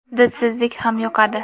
Didsizlik ham yuqadi.